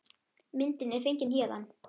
Myndin er fengin héðan.